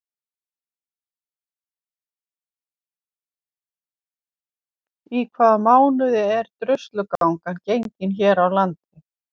Í hvaða mánuði er Druslugangan gengin hér á landi?